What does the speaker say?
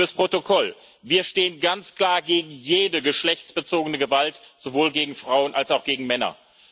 Fürs Protokoll Wir stehen ganz klar gegen jede geschlechtsbezogene Gewalt sowohl gegen Frauen als auch gegen Männer.